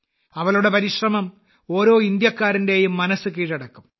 അവളുടെ പരിശ്രമം ഓരോ ഭാരതീയന്റെയും മനസ്സ് കീഴടക്കും